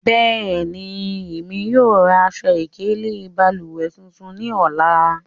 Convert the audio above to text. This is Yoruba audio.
Bẹẹni, emi yóò ra aṣọ-ikele balùwẹ tuntun ni ọla.